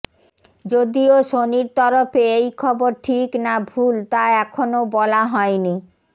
যদিও সোনির তরফে এই খবর ঠিক না ভুল তা এখনও বলা হয়ন